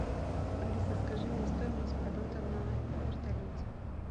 алиса скажи мне стоимость полета на вертолете